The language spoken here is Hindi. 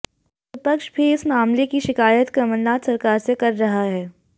विपक्ष भी इस मामले की शिकायत कमलनाथ सरकार से कर रहा है